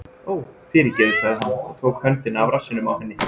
Ó, fyrirgefðu- sagði hann og tók höndina af rassinum á henni.